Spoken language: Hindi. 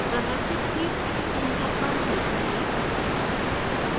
प्रदर्शित heat exchanger पर click करें